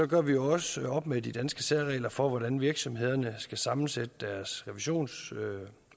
gør vi også op med de danske særregler for hvordan virksomhederne skal sammensætte deres revisionsudvalg